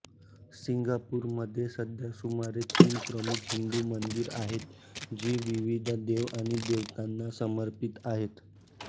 सिंगापूरमध्ये सध्या सुमारे तीस प्रमुख हिंदू मंदिर आहेत जी विविध देव आणि देवतांना समर्पित आहेत